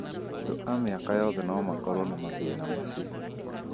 Andũ a mĩaka yothe no makorũo na mathĩna macio.